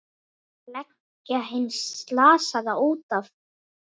Leggja hinn slasaða út af.